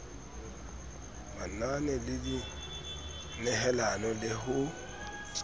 manane le dinehelano le ho